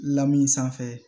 Lamin sanfɛ